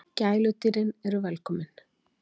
Gæludýrin eru velkomin